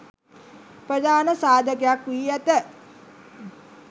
ප්‍රධාන සාධකයක් වී ඇත.